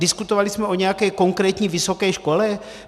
Diskutovali jsme o nějaké konkrétní vysoké škole?